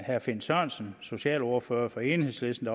herre finn sørensen socialordfører for enhedslisten